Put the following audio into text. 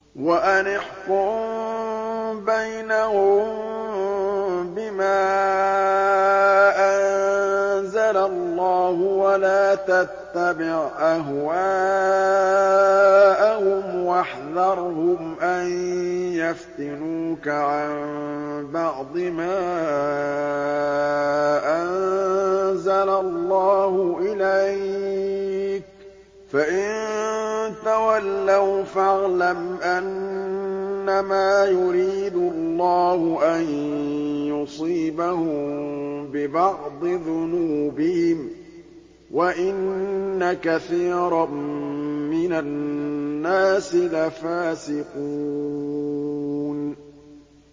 وَأَنِ احْكُم بَيْنَهُم بِمَا أَنزَلَ اللَّهُ وَلَا تَتَّبِعْ أَهْوَاءَهُمْ وَاحْذَرْهُمْ أَن يَفْتِنُوكَ عَن بَعْضِ مَا أَنزَلَ اللَّهُ إِلَيْكَ ۖ فَإِن تَوَلَّوْا فَاعْلَمْ أَنَّمَا يُرِيدُ اللَّهُ أَن يُصِيبَهُم بِبَعْضِ ذُنُوبِهِمْ ۗ وَإِنَّ كَثِيرًا مِّنَ النَّاسِ لَفَاسِقُونَ